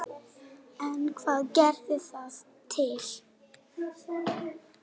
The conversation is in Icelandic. En hvað gerði það til?